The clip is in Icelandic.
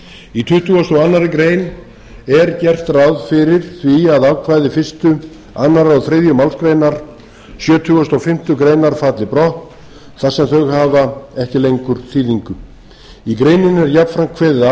tuttugasta og aðra grein er gert ráð fyrir því að ákvæði fyrstu annarri og þriðju málsgrein sjötugustu og fimmtu grein falli brott þar sem þau hafa ekki lengur þýðingu í greininni er jafnframt kveðið á um